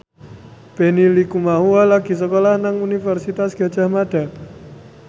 Benny Likumahua lagi sekolah nang Universitas Gadjah Mada